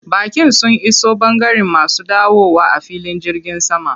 Baƙin sun iso ɓangaren masu dawowa a filin jirgin sama.